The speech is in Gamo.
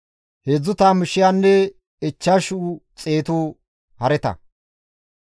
Heedzdzu tammu shiyanne ichchashu xeetu hareta,